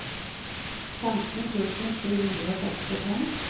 femten tusen sju hundre og sekstifem